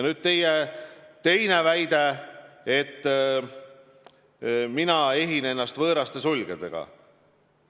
Nüüd teie teine väide, et mina ehin ennast võõraste sulgedega.